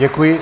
Děkuji.